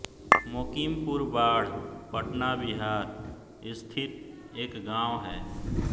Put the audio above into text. मोकिमपुर बाढ पटना बिहार स्थित एक गाँव है